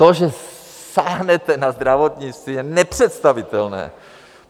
To, že sáhnete na zdravotnictví, je nepředstavitelné.